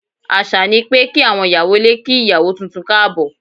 Àṣà ni pé kí àwọn ìyàwó ilé kí ìyàwó tuntun káàbọ̀.